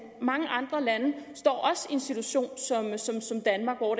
mange andre lande står også i en situation som danmark hvor